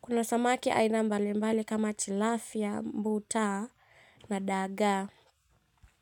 Kuna samaki aina mbalimbali kama tilapia, mbuta na dagaa.